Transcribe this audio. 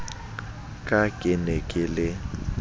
ka ke ne ke le